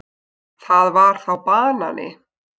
Það var þá banani.